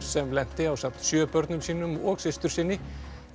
sem lenti ásamt sjö börnum sínum og systursyni